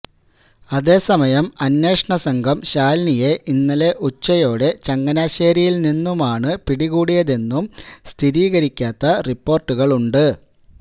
അതേ സമയം അന്വേഷണസംഘം ശാലിനിയെ ഇന്നലെ ഉച്ചയോടെ ചങ്ങനാശേരിയില്നിന്നുമാണ് പിടികൂടിയതെന്നും സ്ഥിരീകരിക്കാത്ത റിപ്പോര്ട്ടുകളുണ്ട്